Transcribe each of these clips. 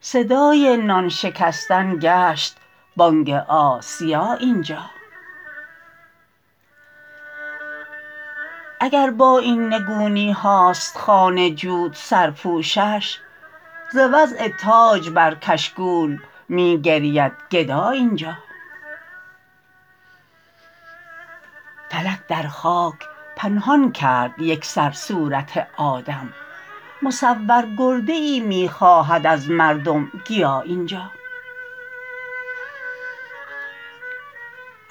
صدای نان شکستن گشت بانگ آسیا اینجا اگربااین نگونی هاست خوان جود سرپوشش ز وضع تاج برکشکول می گریدگدا اینجا فلک در خاک پنهان کرد یکسر صورت آدم مصورگرده ای می خواهد از مردم گیا اینجا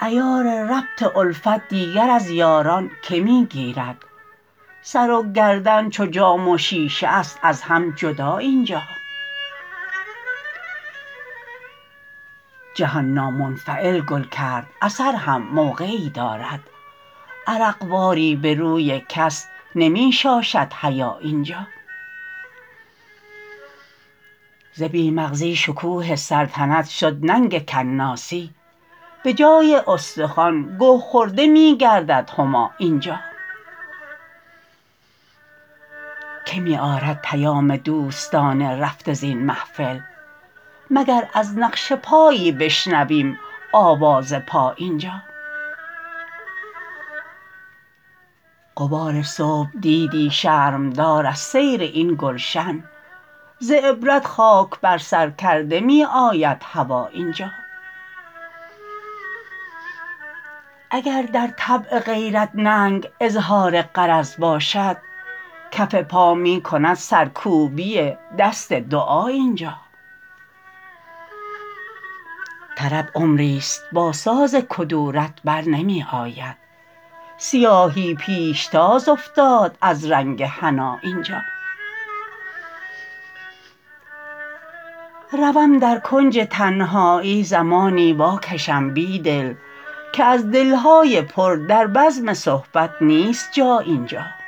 عیار ربط الفت دیگر از یاران که می گیرد سر وگردن چوجام وشیشه است ازهم جدا اینجا جهان نامنفعل گل کرد اثر هم موقعی دارد عرق واری به روی کس نمی شاشد حیا اینجا ز بی مغزی شکوه سلطنت شد ننگ کناسی به جای استخوان گه خورده می گردد هما اینجا که می آرد پیام دوستان رفته زین محفل مگر از نقش پایی بشنویم آواز پا اینجا غبار صبح دیدی شرم دار از سیر این گلشن ز عبرت خاک بر سرکرده می آید هوا اینجا اگر در طبع غیرت ننگ اظهار غرض باشد کف پا میکند سرکوبی دست دعا اینجا طرب عمری ست با سازکدورت برنمی آبد سیاهی پیشتاز افتاد از رنگ حنا اینجا روم درکنج تنهایی زمانی واکشم بیدل که از دلهای پر در بزم صحبت نیست جا اینجا